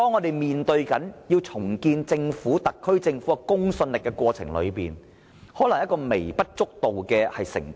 然而，為了重建特區政府的公信力，重複作供可能只是微不足道的成本。